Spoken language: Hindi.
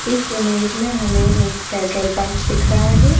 इस इमेज में हमें एक पेट्रोल पंप दिख रहा है।